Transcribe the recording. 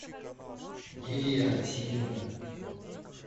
лилия васильевна